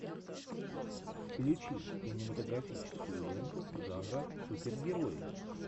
включи кинематографическую ленту жанра супергерои